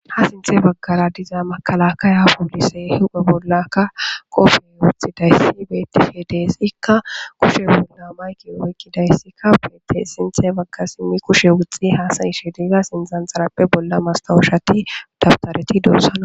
Ha sinthe baggara diza makala ka ya pulise hupha bollakka qofe wuxxi dayssi betefe deesikka kushe bolla mayki woyqqidayssikka beette sinthe bagga simmi kushe wuxxi haasayishe diiza sinzan xarappe bolla mastawushati dabtareti doossana.